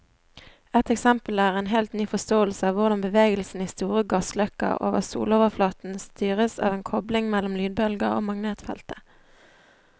Et eksempel er en helt ny forståelse av hvordan bevegelsen i store gassløkker over soloverflaten styres av en kobling mellom lydbølger og magnetfeltet.